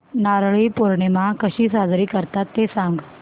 नारळी पौर्णिमा कशी साजरी करतात ते सांग